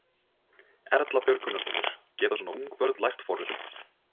Erla Björg Gunnarsdóttir: Geta svona ung börn lært forritun?